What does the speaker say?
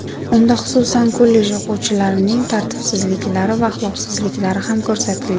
Unda, xususan, kollej o‘quvchilarining tartibsizliklari va axloqsizliklari ham ko‘rsatilgan.